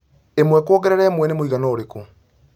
ĩmwe kũongerera ĩmwe nĩmwĩigana ũrĩkũ